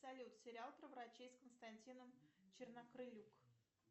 салют сериал про врачей с константином чернокрылюк